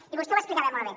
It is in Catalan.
i vostè ho explicava molt bé